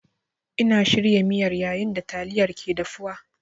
Ina shirya miyar yayin da yayin da taliyar ke dafuwa.